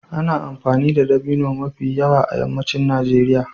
Ana amfani da dabino mafi yawa a yammacin Najeriya.